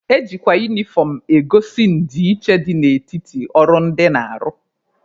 Ejikwa unifọm egosi ndịiche dị n'etiti ọrụ ndị na-arụ.